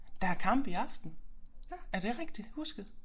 Der er kamp i aften er det rigtigt husket